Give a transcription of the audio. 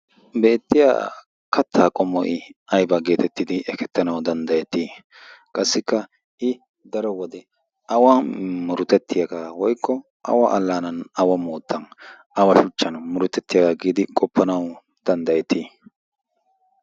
beettiya kattaa qomo'i aiba geetettidi ekettanau danddayettii qassikka i daro wode awa murutettiyaagaa woykko awa allaanan awa moottan awa shuchchan murotettiyaagaa giidi qoppanau danddayetii?